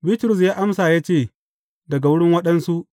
Bitrus ya amsa ya ce, Daga wurin waɗansu.